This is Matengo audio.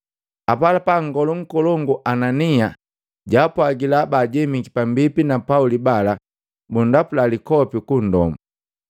Apalapa nngolu nkolongu Anania jaapwagila baajemiki pambipi na Pauli bala bundapula likopi kundomu.